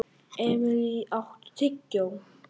Emilý, áttu tyggjó?